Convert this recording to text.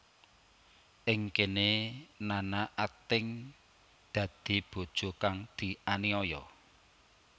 Ing kéné Nana akting dadi bojo kang dianiaya